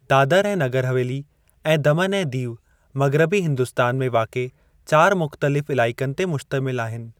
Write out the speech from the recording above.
दादर ऐं नगर हवेली ऐं दामन ऐं देव मग़रबी हिन्दुस्तान में वाक़िए चारि मुख़्तलिफ़ इलाइक़नि ते मुश्तमिल आहिनि।